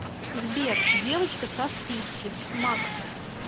сбер девочка со вписки макф